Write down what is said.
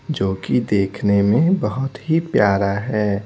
जो कि देखने में बहुत ही प्यारा है।